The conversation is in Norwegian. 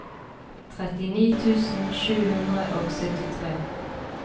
trettini tusen sju hundre og syttitre